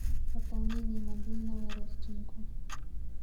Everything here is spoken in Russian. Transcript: пополнение мобильного родственнику